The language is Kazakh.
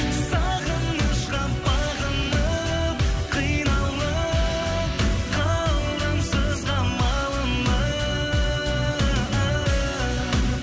сағынышқа бағынып қиналып қалдым сызға малынып